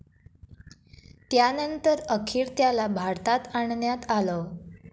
यानंतर अखेर त्याला भारतात आणण्यात आलं.